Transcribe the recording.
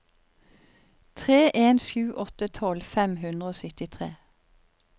tre en sju åtte tolv fem hundre og syttitre